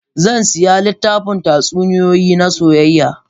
Zan sayi littafin tatsuniyoyi na soyayya.